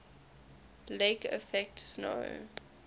lake effect snow